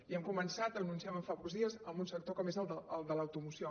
i hem començat ho anunciàvem fa pocs dies en un sector com és el de l’automoció